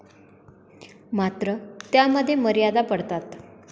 मात्र, त्यामध्ये मर्यादा पडतात.